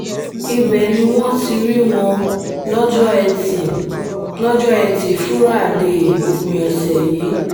ibẹ̀ ni wọ́n ti rí wọn lọ́jọ́ etí lọ́jọ́ etí fúrádéé òpin ọ̀sẹ̀ yìí